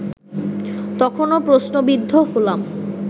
তখনো প্রশ্নবিদ্ধ হলাম